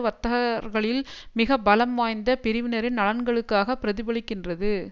வர்த்தக கர்களில் மிக பலம்வாய்ந்த பிரிவினரின் நலன்களுக்காக பிரதிபலிக்கின்றது